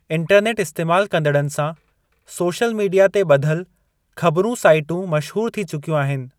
Internet इस्तेमाल कंदड़नि सां, सोशल मीडिया ते ॿधलु ख़बरूं साइटूं मशहूरु थी चुकियूं आहिनि।